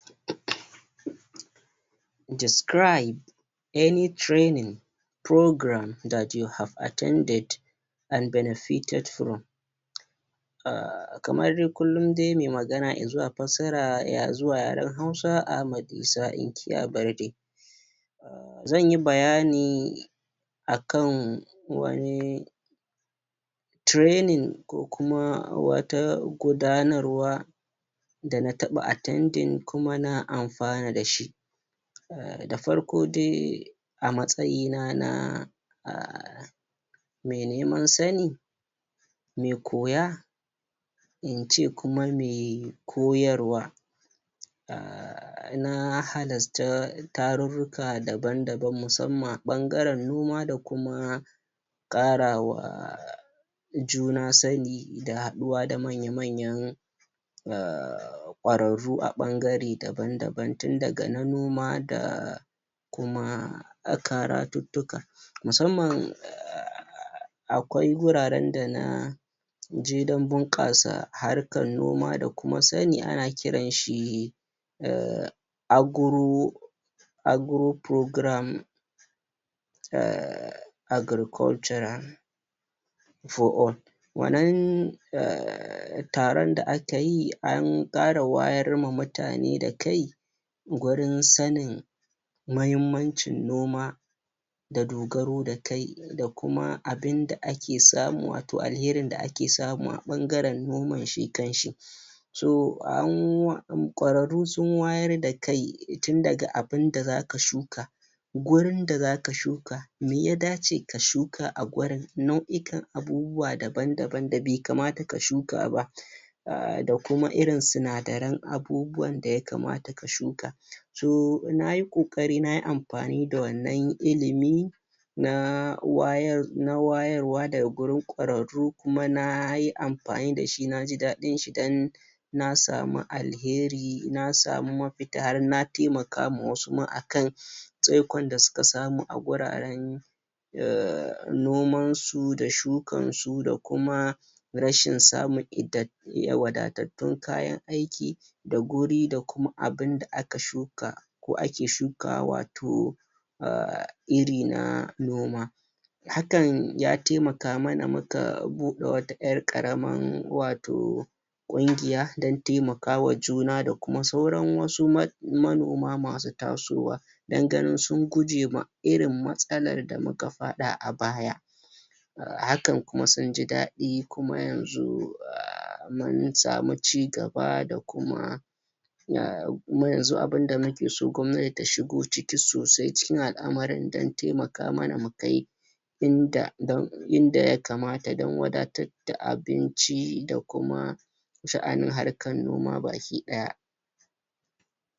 describe any training programme that you've attented and benefited from kamar dai kullun dai mai magana i zuwa fassara i zuwa yaren hausa a ma isa inkiya barde zan yi bayani akan wani training ko kuma wata gunadarwa da na taba attending kuma na amfana dashi da farko dai a matsayina na mai nemna sani mai koya in ce kuma mai koyarwa na halasata tarurruka daban daban musamman ɓangaren noma da kuma ƙarawa juna sani da haduwa da manya manyan da kwarararru a ɓangare daban daban tun daga na noma da kuma a karatuttuka musamman akwai guraren da na je dan bunkasa harkar noma da kuma sani ana kiran shi ahh agro agro programme ahh agricultural for all wannan ahh tarin da ake tayi an kara wayar wa mutane da kai gurin sanin mahimmancin noma da dogaro tayi da kuma abinda ake samu wato alherin da ake samu a ɓangaren noman shi kan shi so an kwararru sun wayar da kai tun daga abinda zaka shuka gurin da zaka shuka mai ya dace ka shuka a gurin nau'ikan abubuwa dabn daban da bai kamata ka shuka ba ahh da kuma irin sinadaran abu buwan da ya kamata ka shuka so nayi ƙo ƙari nayi mafani da wannan ilimi na wayar na wayarwa daga gurin kwararru kuma nayi amfani dashi naji dadin shi dan na samu alheri na samu maf ita har na taimaka ma wasu ma a kan tsaikon da suka samu a guraren noman su da shukan su da kuma rashin samun it wadatattun kayan aiki da guri da kuma abunda aka shuka ko ake shuka wa wato ahh iri na noma hakan ya taimka mana muka bude wata 'yar ƙaraman wato ƙungiya dan taimaka wa juna da kuma sauran wasu ma manomo masu taso wa dan ganin sun guje ma irin matsalan da muka fada a baya hakan kuma sun ji dadi kuma yanzu ahh mun samu cigaba da kuma kuma yanzu abunda nake so gwannati ta shigo ciki sosai cikin al amarin dan taimaka mana mu kai inda dan idan ya kamata dan wadatar da abinci da kuma sha'anin harkar noma baki daya